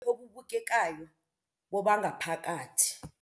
Obubukekayo bobangaphakathi.